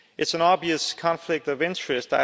It is an obvious conflict of interest.